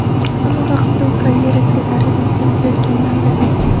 Ammo vaqtida u karyerasiga zarar yetkazayotganini anglab yetgan.